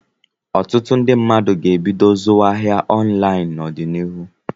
Ọtụtụ ndị mmadụ ga-ebido zuwa ahịa ọnlaịn n'ọdịnihu.